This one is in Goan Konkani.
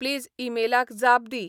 प्लीज ईमेलाक जाप दी